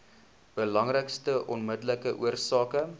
belangrikste onmiddellike oorsake